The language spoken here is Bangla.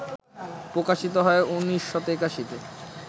প্রকাশিত হয় ১৯৮১তে